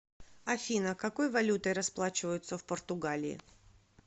афина какой валютой расплачиваются в португалии